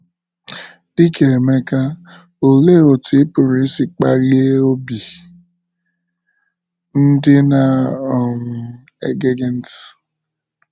Dị ka Emeka, olee otú ị pụrụ isi kpalie obi ndị na - um ege gị ntị?